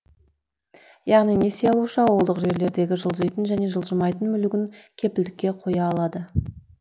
яғни несие алушы ауылдық жерлердегі жылжитын және жылжымайтын мүлігін кепілдікке қоя алады